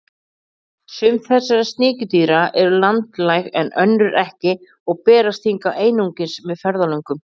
Sum þessara sníkjudýra eru landlæg en önnur ekki og berast hingað einungis með ferðalöngum.